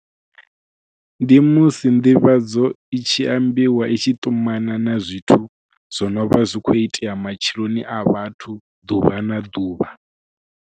Ndi musi nḓivhadzo i tshi ambiwa i tshi ṱumana na zwithu zwo no vha zwi khou itea matsheloni a vhathu ḓuvha na ḓuvha.